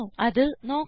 അത് നോക്കാം